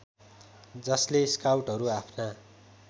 जसले स्काउटहरू आफ्ना